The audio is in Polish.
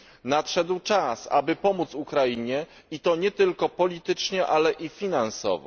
Nadszedł czas, aby pomóc Ukrainie i to nie tylko politycznie, ale i finansowo.